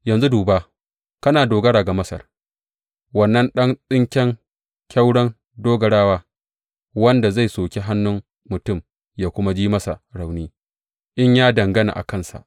Yanzu duba, kana dogara ga Masar, wannan ɗan tsinken kyauron dogarawa, wanda zai soki hannun mutum yă kuma ji masa rauni in ya dangana a kansa!